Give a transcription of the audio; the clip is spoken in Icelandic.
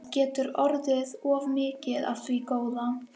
Það getur orðið of mikið af því góða.